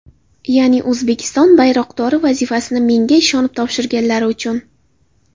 Ya’ni O‘zbekiston bayroqdori vazifasini menga ishonib topshirganlari uchun.